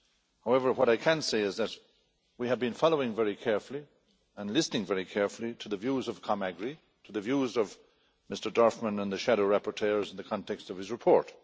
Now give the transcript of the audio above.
however, what I can say is that we have been following very carefully and listening very carefully to the views of the AGRI Committee, to the views of Mr Dorfmann and the shadow rapporteurs in the context of this report.